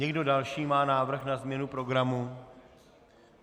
Někdo další má návrh na změnu programu?